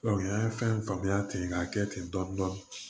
an ye fɛn faamuya ten k'a kɛ ten dɔn